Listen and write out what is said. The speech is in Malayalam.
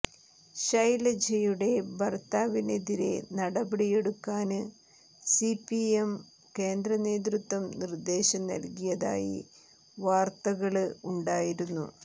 ശൈലജയുടെ ഭര്ത്താവിനെതിരെ നടപടിയെടുക്കാന് സിപിഎം കേന്ദ്രനേതൃം നിര്ദേശം നല്കിയതായി വാര്ത്തകള് ഉണ്ടായിരുന്നു